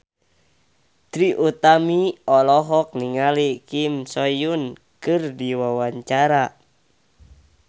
Trie Utami olohok ningali Kim So Hyun keur diwawancara